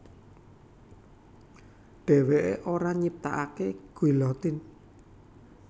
Dheweké ora nyiptakaké guillotine